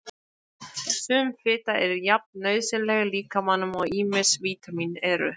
Sum fita er jafn nauðsynleg líkamanum og ýmis vítamín eru.